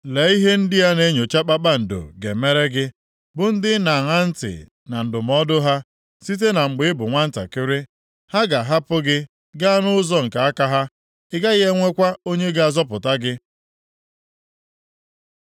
Lee ihe ndị a na-enyocha kpakpando ga-emere gị, bụ ndị ị na-aṅa ntị na ndụmọdụ ha site na mgbe ị bụ nwantakịrị. Ha ga-ahapụ gị gaa nʼụzọ nke aka ha; ị gaghị enwekwa onye ga-azọpụta gị.